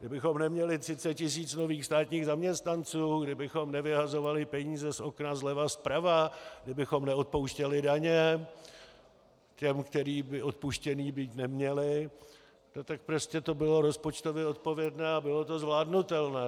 Kdybychom neměli 30 tis. nových státních zaměstnanců, kdybychom nevyhazovali peníze z okna zleva zprava, kdybychom neodpouštěli daně těm, kterým by odpuštěny být neměly, tak prostě to bylo rozpočtově odpovědné a bylo to zvládnutelné.